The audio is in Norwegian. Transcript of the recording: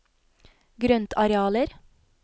grøntarealer